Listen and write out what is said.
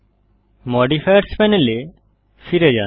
modifiers প্যানেলে ফিরে যান